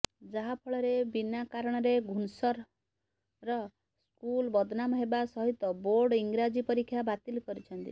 ଯାହାଫଳରେ ବିନା କାରଣରେ ଘୁନସର ର୍ ସ୍କୁଲ ବଦନାମ ହେବା ସହିତ ବୋର୍ଡ ଇଂରାଜୀ ପରୀକ୍ଷା ବାତିଲ୍ କରିଛନ୍ତି